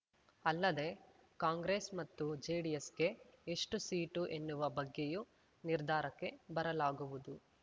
ಅಲ್ಲದೆ ಕಾಂಗ್ರೆಸ್ ಮತ್ತು ಜೆಡಿಎಸ್‌ಗೆ ಎಷ್ಟು ಸೀಟು ಎನ್ನುವ ಬಗ್ಗೆಯೂ ನಿರ್ಧಾರಕ್ಕೆ ಬರಲಾಗುವುದು